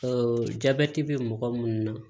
jabɛti bɛ mɔgɔ minnu na